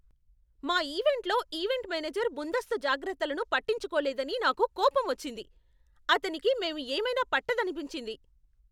మా ఈవెంట్లో event manager ముందస్తు జాగ్రత్తలను పట్టించుకోలేదని నాకు కోపం వచ్చింది. అతనికి మేము ఏమైనా పట్టదనిపించింది!